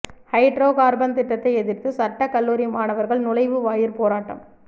hydro carbon திட்டத்தை எதிர்த்து சட்டக்கல்லூரி மாணவர்கள் நுழைவு வாயிற் போராட்டம்